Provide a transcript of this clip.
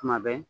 Tuma bɛɛ